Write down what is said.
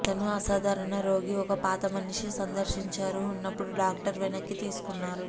అతను అసాధారణ రోగి ఒక పాత మనిషి సందర్శించారు ఉన్నప్పుడు డాక్టర్ వెనక్కి తీసుకున్నారు